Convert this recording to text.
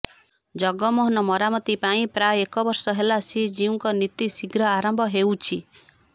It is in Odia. ଜଗମୋହନ ମରାମତି ପାଇଁ ପ୍ରାୟ ଏକ ବର୍ଷ ହେଲା ଶ୍ରୀଜୀଉଙ୍କ ନୀତି ଶୀଘ୍ର ଆରମ୍ଭ ହେଉଛି